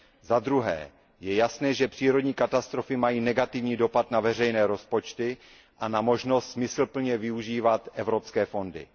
Zadruhé, je jasné, že přírodní katastrofy mají negativní dopad na veřejné rozpočty a na možnost smysluplně využívat evropské fondy.